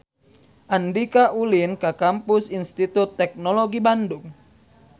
Andika ulin ka Kampus Institut Teknologi Bandung